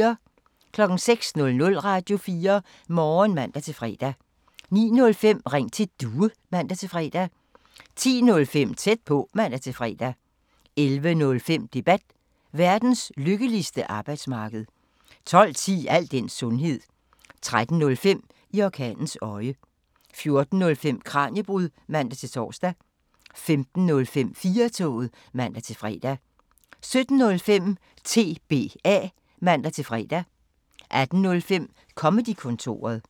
06:00: Radio4 Morgen (man-fre) 09:05: Ring til Due (man-fre) 10:05: Tæt på (man-fre) 11:05: Debat: Verdens lykkeligste arbejdsmarked 12:10: Al den sundhed 13:05: I orkanens øje 14:05: Kraniebrud (man-tor) 15:05: 4-toget (man-fre) 17:05: TBA (man-fre) 18:05: Comedy-kontoret